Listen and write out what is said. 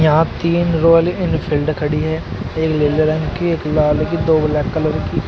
यहां तीन Royal Enfield खड़ी है एक नीले रंग की एक लाल दो ब्लैक कलर की।